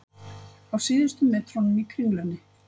Á síðustu metrunum í Kringlunni